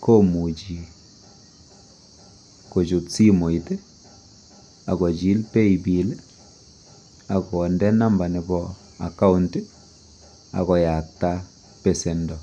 komuchi kochut simoit akochil pay bill akonde number nebo account okoyakta besendo